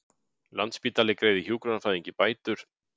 Landspítali greiði hjúkrunarfræðingi bætur